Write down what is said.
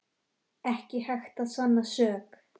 Ekki hægt að sanna sök